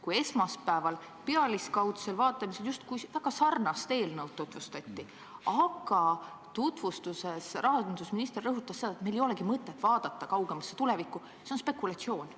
Kui esmaspäeval seda teist ja pealiskaudsel vaatamisel justkui väga sarnast eelnõu tutvustati, siis rahandusminister rõhutas, et meil ei ole mõtet vaadata kaugemasse tulevikku – see on spekulatsioon.